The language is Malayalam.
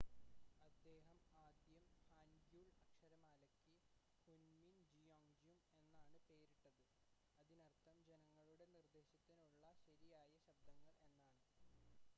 "അദ്ദേഹം ആദ്യം ഹാൻഗ്യുൾ അക്ഷരമാലയ്ക്ക് ഹുൻമിൻ ജിയോൻജ്യും എന്നാണ് പേരിട്ടത് അതിനർത്ഥം "ജനങ്ങളുടെ നിർദ്ദേശത്തിനുള്ള ശരിയായ ശബ്ദങ്ങൾ" എന്നാണ്.